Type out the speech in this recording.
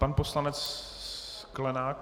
Pan poslanec Sklenák.